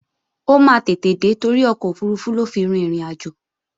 Ó máa tètè dé torí ọkọ̀ òfurufú ló fi rin ìrìnàjò